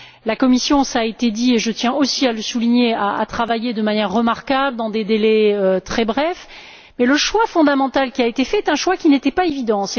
La Commission, cela a été dit, et je tiens aussi à le souligner, a travaillé de manière remarquable, dans des délais très brefs, et le choix fondamental qui a été fait est un choix qui n'était pas évident.